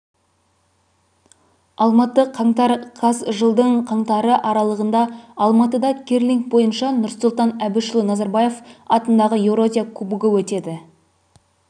алматы қаңтар қаз жылдың қаңтары аралыында алматыда керлинг бойынша нұрсұлтан әбішұлы назарбаев атындағы еуразия кубогы өтеді